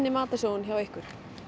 matarsóun hjá ykkur